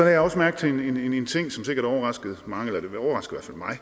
jeg også mærke til en ting som sikkert overraskede mange der er